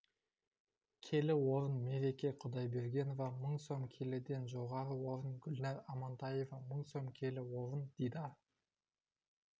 келі орын мереке құдайбергенова мың сом келіден жоғары орын гүлнар амантаева мың сом келі орын дидар